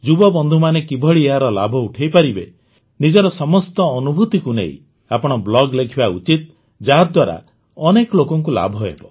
ଯୁବବନ୍ଧୁମାନେ କିଭଳି ଏହାର ଲାଭ ଉଠାଇପାରିବେ ନିଜର ସମସ୍ତ ଅନୁଭୁତିକୁ ନେଇ ଆପଣ ବ୍ଲଗ୍ ଲେଖିବା ଉଚିତ ଯାହାଦ୍ୱାରା ଅନେକ ଲୋକଙ୍କୁ ଲାଭ ହେବ